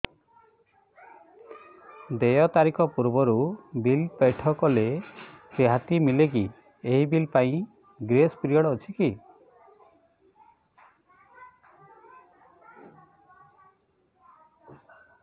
ଦେୟ ତାରିଖ ପୂର୍ବରୁ ବିଲ୍ ପୈଠ କଲେ ରିହାତି ମିଲେକି ଏହି ବିଲ୍ ପାଇଁ ଗ୍ରେସ୍ ପିରିୟଡ଼ କିଛି ଅଛିକି